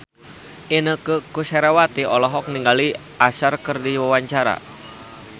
Inneke Koesherawati olohok ningali Usher keur diwawancara